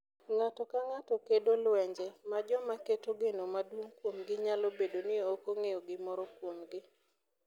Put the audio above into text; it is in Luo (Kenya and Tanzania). Ng’ato ka ng’ato kedo lwenje ma joma keto geno maduong’ kuomgi nyalo bedo ni ok ong’eyo gimoro kuomgi.